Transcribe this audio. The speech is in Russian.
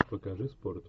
покажи спорт